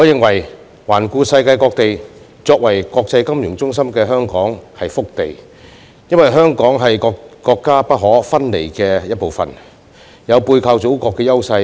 環顧世界各地，我認為作為國際金融中心的香港是塊福地，因為我們是國家不可分離的一部分，有背靠祖國的優勢。